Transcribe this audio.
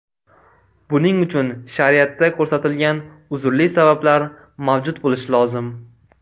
Buning uchun shariatda ko‘rsatilgan uzrli sabablar mavjud bo‘lishi lozim.